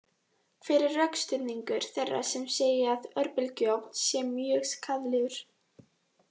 Hver er rökstuðningur þeirra sem segja að örbylgjuofn sé mjög skaðlegur?